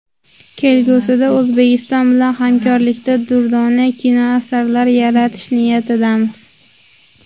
Kelgusida O‘zbekiston bilan hamkorlikda durdona kinoasarlar yaratish niyatidamiz.